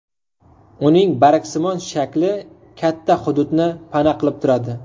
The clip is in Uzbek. Uning bargsimon shakli katta hududni pana qilib turadi.